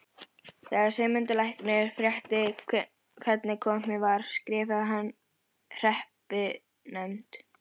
Þegar Sigmundur læknir frétti hvernig komið var skrifaði hann hreppsnefnd